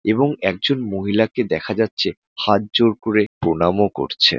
এবং একজন মহিলাকে দেখা যাচ্ছে হাত জোড় করে প্রণামও করছে।